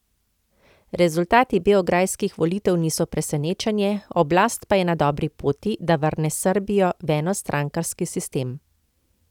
Rezultati beograjskih volitev niso presenečenje, oblast pa je na dobri poti, da vrne Srbijo v enostrankarski sistem.